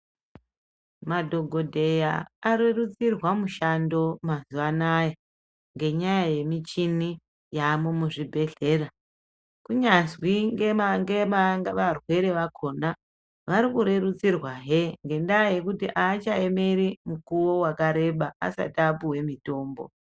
Madhokodheya anokurudzirwa mishando mazuva Anaya ngenyaya yemichini yaamo muzvibhehleya kunyanzwivarwere vako a varikurerutsirwahe ngendaya yekuti aachaemeri mikuwo yakareba asati apiwa mitombo .